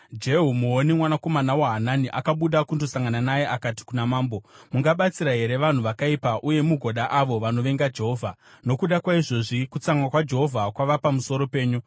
Jehu muoni, mwanakomana waHanani, akabuda kundosangana naye akati kuna mambo, “Mungabatsira here vanhu vakaipa uye mugoda avo vanovenga Jehovha? Nokuda kwaizvozvi kutsamwa kwaJehovha kwava pamusoro penyu.